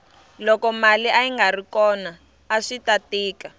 loko mali ayingari kona aswita tika